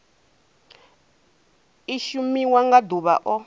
i shumiwa nga ḓuvha o